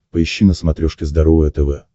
поищи на смотрешке здоровое тв